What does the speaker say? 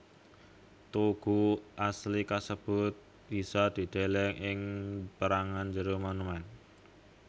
Tugu asli kasebut bisa dideleng ing pérangan jero monumèn